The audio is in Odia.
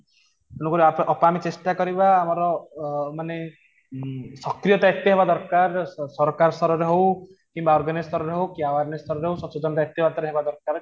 ତେଣୁକରି ଆମେ ଅକାମି ଚେଷ୍ଟା କରିବା ଆମର ଅ ମାନେ ହମ୍ମ ସକ୍ରିୟତା ଏତେ ହେବା ଦରକାର ସରକାର ସ୍ତରରେ ହଉ କିମ୍ବା organise ସ୍ତର ରେ ହଉ କି awareness ସ୍ତର ରେ ହଉ ସଚେତନ ରହିବା ନିହାତି ଦରକାର